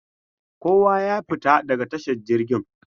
Kowa ya fita daga tashar jirgin!.